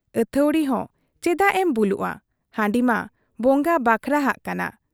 ᱟᱹᱛᱷᱟᱹᱣᱲᱤ ᱦᱚᱸ ᱪᱮᱫᱟᱜ ᱮᱢ ᱵᱩᱞᱩᱜ ᱟ ? ᱦᱟᱺᱰᱤ ᱢᱟ ᱵᱚᱸᱜᱟ ᱵᱟᱠᱷᱨᱟᱦᱟᱜ ᱠᱟᱱᱟ ᱾